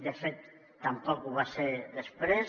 de fet tampoc ho va ser després